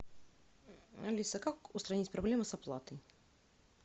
алиса как устранить проблему с оплатой